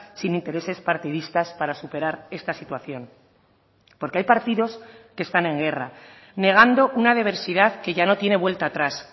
sin intereses partidistas para superar esta situación porque hay partidos que están en guerra negando una diversidad que ya no tiene vuelta atrás